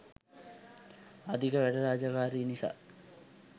අධික වැඩ රාජකාරී නිසා